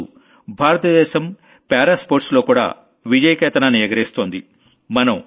ఇవ్వాళ్ల భారతదేశం para sports లోకూడా విజయకేతనాన్ని ఎగరేస్తోంది